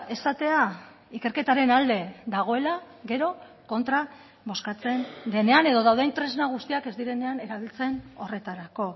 esatea ikerketaren alde dagoela gero kontra bozkatzen denean edo dauden tresna guztiak ez direnean erabiltzen horretarako